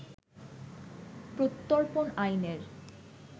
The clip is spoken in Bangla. প্রত্যর্পণ আইনের